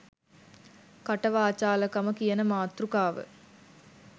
" කට වාචාල කම " කියන මාතෘකාව